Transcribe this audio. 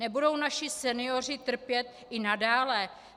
Nebudou naši senioři trpět i nadále?